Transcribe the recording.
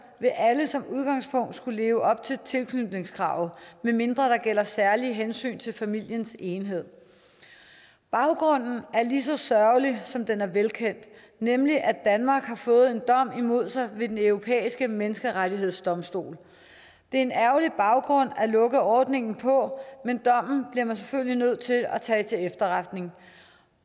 vil alle som udgangspunkt skulle leve op til tilknytningskravet medmindre der gælder særlige hensyn til familiens enhed baggrunden er lige så sørgelig som den er velkendt nemlig at danmark har fået en dom imod sig ved den europæiske menneskerettighedsdomstol det er en ærgerlig baggrund at lukke ordningen på men dommen bliver man selvfølgelig nødt til at tage til efterretning